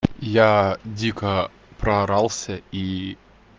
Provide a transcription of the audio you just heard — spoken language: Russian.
я дико проорался и